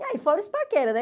E aí, fora os paquera, né?